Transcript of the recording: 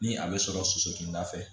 Ni a bɛ sɔrɔ soso ninda fɛ